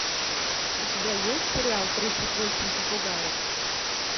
у тебя есть сериал тридцать восемь попугаев